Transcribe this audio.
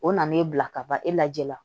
O na n'e bila ka ban e lajɛ la